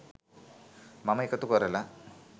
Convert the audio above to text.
මම එකතු කරලා